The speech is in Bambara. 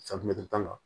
tan na